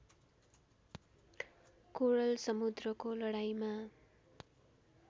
कोरल समुद्रको लडाईँमा